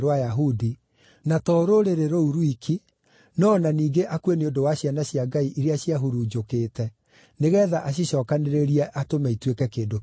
na to rũrĩrĩ rũu rwiki, no o na ningĩ akue nĩ ũndũ wa ciana cia Ngai iria ciahurunjũkĩte, nĩgeetha acicookanĩrĩrie atũme ituĩke kĩndũ kĩmwe.